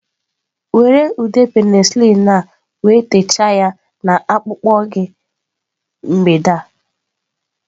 Were ude penicillin a wee techaa ya na akpụkpọ gị mgbede a.